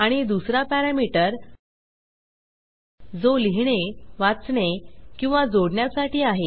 आणि दुसरा पॅरामीटर जो लिहिणे वाचणे किंवा जोडण्यासाठी आहे